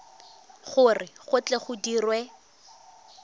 gore go tle go dirwe